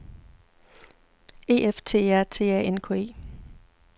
E F T E R T A N K E